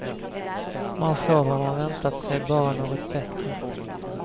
Man får vad man väntat sig, bara något bättre.